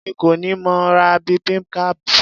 Èmi kọ́ ni mo ra bibimbap.